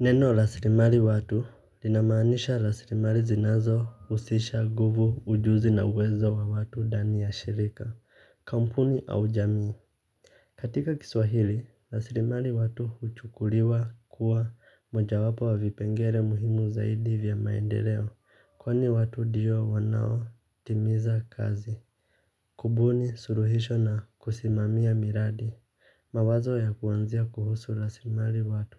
Neno laslimari watu, linamaanisha laslimari zinazo husisha nguvu ujuzi na uwezo wa watu ndani ya shirika kampuni au jamii. Katika kiswahili laslimari watu huchukuliwa kuwa mojawapo wavipengele muhimu zaidi vya maendeleo kwani watu ndio wanao timiza kazi. Kubuni suluhisho na kusimamia miradi mawazo ya kuwazia kuhusu laslimari watu.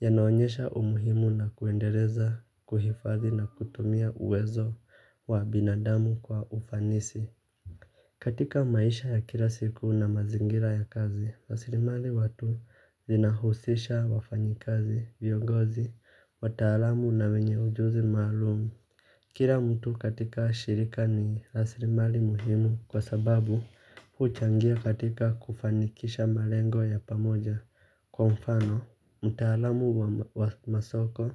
Yanaonyesha umuhimu na kuendeleza, kuhifadhi na kutumia uwezo wa binadamu kwa ufanisi. Katika maisha ya kila siku na mazingira ya kazi, raslimali watu zinahusisha wafanyikazi, vyongozi, wataalamu na wenye ujuzi maalumu. Kila mtu katika shirika ni raslimali muhimu kwa sababu huchangia katika kufanikisha malengo ya pamoja kwa mfano mtaalamu wa masoko,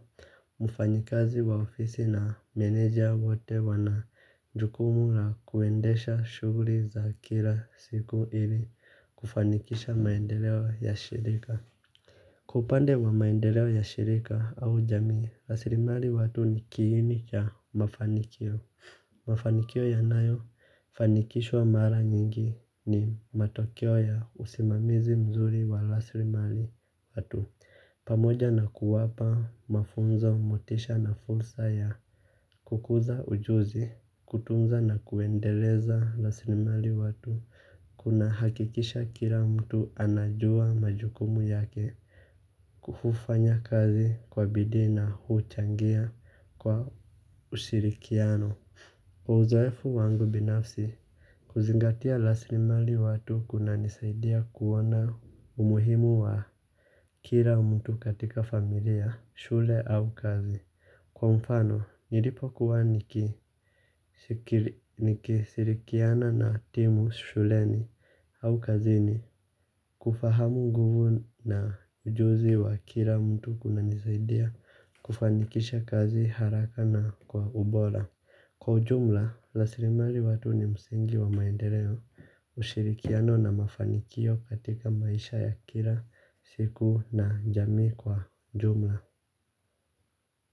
mfanyikazi wa ofisi na meneja wote wana jukumu la kuendesha shughuli za kila siku ili kufanikisha maendeleo ya shirika. Kwa upande wa maendeleo ya shirika au jamii, raslimali watu ni kiini cha mafanikio. Mafanikio yanayofanikishwa mara nyingi ni matokeo ya usimamizi mzuri wa raslimali watu. Pamoja na kuwapa mafunzo motisha na fursa ya kukuza ujuzi kutunza na kuendeleza raslimali watu kunahakikisha kila mtu anajua majukumu yake. Kufanya kazi kwa bidii na huchangia kwa usirikiano. Uzoefu wangu binafsi kuzingatia raslimali watu kunanisaidia kuona umuhimu wa kila mtu katika familia, shule au kazi. Kwa mfano, nilipokuwa nikishirikiana na timu shuleni au kazini. Kufahamu nguvu na ujuzi wa kila mtu kunanisaidia. Kufanikisha kazi haraka na kwa ubora. Kwa ujumla, raslimali watu ni msingi wa maendeleo ushirikiano na mafanikio katika maisha ya kila siku na jamii kwa jumla.